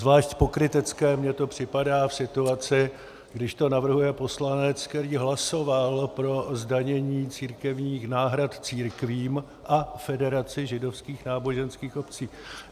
Zvlášť pokrytecké mně to připadá v situaci, když to navrhuje poslanec, který hlasoval pro zdanění církevních náhrad církvím a Federaci židovských náboženských obcí.